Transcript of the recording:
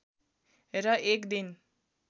र एक दिन